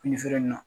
Fini feere in na